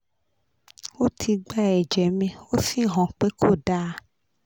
ó ti gba ẹ̀jẹ̀ mi ó sì hàn pé kò dáa